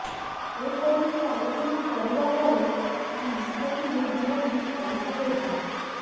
ଏପରିକି ଆଲୋଚନା କରିବା ପରେ ଯାହା ନିଷ୍ପତି ନେବି ବୋଲି କହିଥିଲେ ଦାମ